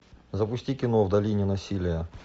запусти кино в долине насилия